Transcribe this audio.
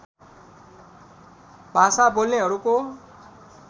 भाषा बोल्नेहरूको